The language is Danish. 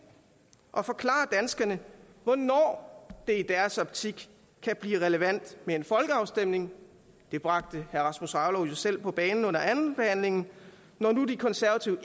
og forklare danskerne hvornår det i deres optik kan blive relevant med en folkeafstemning det bragte herre rasmus jarlov jo selv på banen under andenbehandlingen når nu de konservative